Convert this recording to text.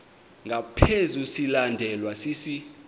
ngaphezu silandelwa sisi